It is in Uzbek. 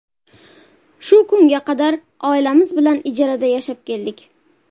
Shu kunga qadar oilamiz bilan ijarada yashab keldik.